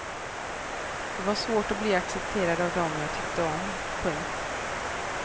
Det var svårt att bli accepterad av dem jag tyckte om. punkt